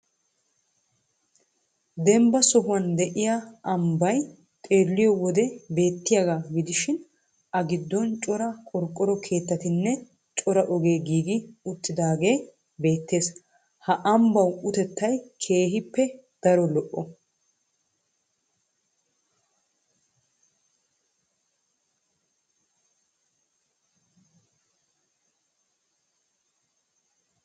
Dembba sohuwan de'iya ambbay xeelliyo wode beettiyagaa gidishin A giddon cora qorqqoro keettatinne cora ogee giigi uttidaagee beettees ha ambbawu utettay keehippe daro lo"ees.